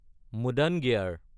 মুদাঙীয়াৰ